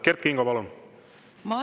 Kert Kingo, palun!